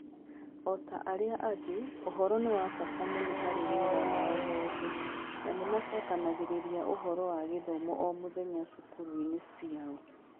O ta arĩa angĩ, ũhoro nĩ wa bata mũno harĩ wĩra wao wothe, na nĩ macokanagĩrĩria ũhoro wa gĩthomo o mũthenya cukuru-inĩ ciao.